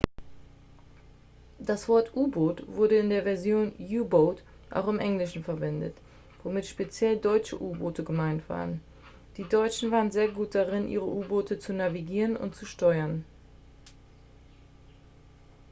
das wort u-boot wurde in der version u-boat auch im englischen verwendet womit speziell deutsche u-boote gemeint waren die deutschen waren sehr gut darin ihre u-boote zu navigieren und zu steuern